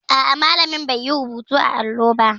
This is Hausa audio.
A'a, malamin bai yi rubutu a allo ba.